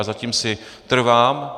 Na tom si trvám.